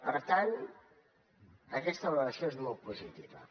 per tant aquesta valoració és molt positiva